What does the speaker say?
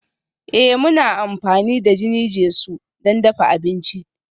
Ee, muna amfani da jini-jesu don dafa abinci